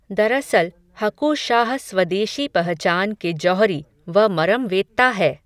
दरअसल हकु शाह स्वदेशी पहचान के जौहरी, व मरमवेत्ता है